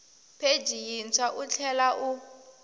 pheji yintshwa u tlhela u